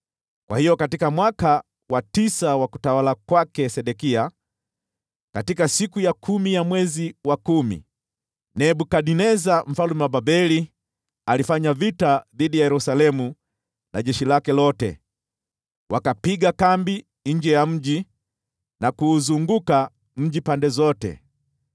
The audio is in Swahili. Hivyo katika mwaka wa tisa wa utawala wa Sedekia, katika siku ya kumi ya mwezi wa kumi, Nebukadneza mfalme wa Babeli akiwa na jeshi lake lote alifanya vita dhidi ya Yerusalemu. Wakapiga kambi nje ya mji na kuuzunguka mji pande zote.